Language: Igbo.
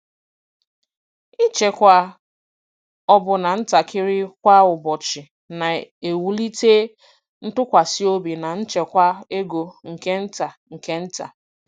Ịchekwa ọbụna ntakịrị kwa ụbọchị na-ewulite ntụkwasị obi na nchekwa ego nke nta nke nta.